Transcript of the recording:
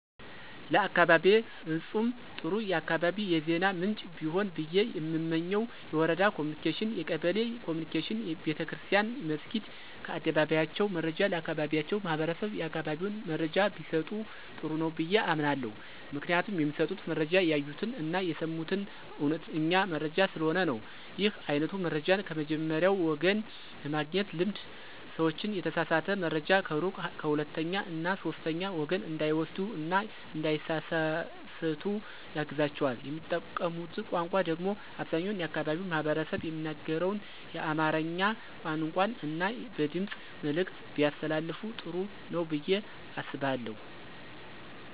ለአካባቢየ ፍጹም ጥሩ የአካባቢ የዜና ምንጭ ቢሆን ብየ የምመኘው የወረዳ ኮምኒኬሽን፣ የቀበሌ ኮምኒኬሽን፣ ቤተክርስትያን መስኪድ ከአደባባያቸው መረጃ ለአካባቢያቸው ማህበረሰብ የአካባቢውን መረጃ ቢሰጡ ጥሩ ነው ብየ አምናለሁ። ምክንያቱም የሚሰጡት መረጃ ያዩትን አና የሰሙትን አዉነተኛ መረጃ ስለሆነ ነው። ይህ አይነቱ መረጃን ከመጀመሪያዉ ወገን የማግኘት ልምድ ሰዎችን የተሳሳተ መረጃ ከሩቅ ከሁለተኛ እና ከሶስተኛ ወገን እንዳይወስዱ እና እንዳይሳሰሳቱ ያግዛቸዋል። የሚጠቀሙት ቋንቋ ደግሞ አብዛኛው የአካባቢው ማህበረሰብ የሚናገረውን የአማርኛ ቋንቋን እና በድምጽ መልዕክት ቢያስተላልፋ ጥሩ ነው ብየ አስባለሁ።